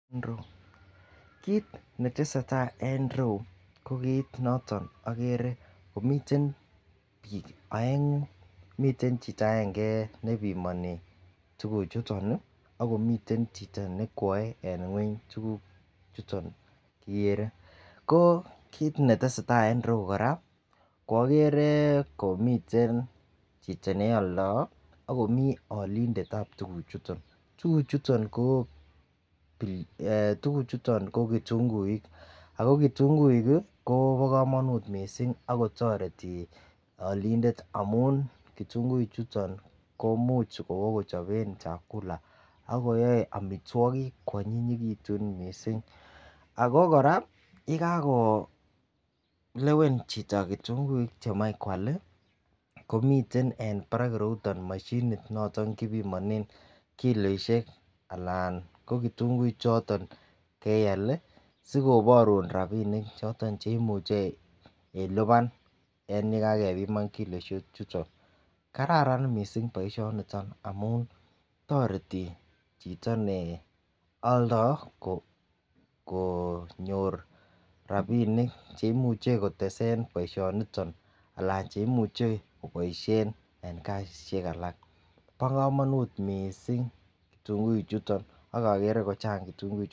Kit netesetai en ireyu ko kit neagere komiten bik aengu akomiten Chito agenge nebimani tuguk chuton ako miten Chito nekwae en ngweny tuguk chuton kigerev ko kit netesetai en ireyu koraa koagere komiten Chito neyaldoo akomiten alindet ab tuguk chuton ako tuguk chuton ko kitunguik ako kitunguik kobakamanut mising akotareti alindet amun kitunguik chuton koimuche koraa keseken akochapen chakula akoyae amitwagik kwanyinyikitun nei koraa yekakolewen chiton kitunguik chemache kwal komiten en Barak irouton mashinit noton kibibanen kiloishek kitunguik choton keyal sikobarun rabinik choton cheimuche iluban en yekakebuman kiloishek chuton kararan baishoniton mising amun tareti Chito ne aldoo ko nyor rabinik cheimuche kotesen baishoniton anan cheimuche kobaishen kotesen en kasishek alak ba kamanut mising kitunguik chuton agere kochan kitunguik chuton.